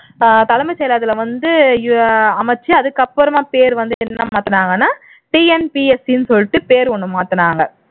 அதுல வந்து அமைச்சு அதுக்கப்புறமா பேர் வந்து என்னன்னு மாத்துனாங்கன்னா TNPSC ன்னு சொல்லிட்டு பேர் ஒண்ணு மாத்துனாங்க